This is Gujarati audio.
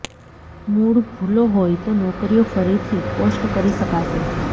મૂળ ભૂલો હોય તો નોકરીઓ ફરીથી પોસ્ટ કરી શકાશે